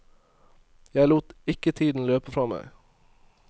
Jeg lot ikke tiden løpe fra meg.